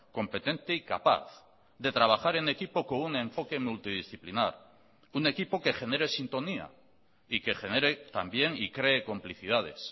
competente y capaz de trabajar en equipo con un enfoque multidisciplinar un equipo que genere sintonía y que genere también y cree complicidades